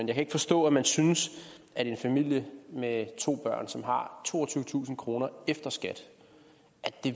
kan ikke forstå at man synes at en familie med to børn som har toogtyvetusind kroner efter skat